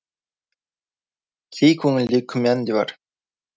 кей көңілде күмән де бар